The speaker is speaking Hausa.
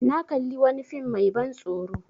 Na kalli wani fm mai ban tsoro